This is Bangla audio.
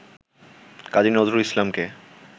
কাজী নজরুল ইসলামকে